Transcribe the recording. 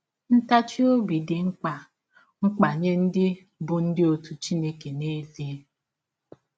Ntachi ọbi dị mkpa mkpa nye ndị bụ́ ndị ọzi Chineke n’ezie.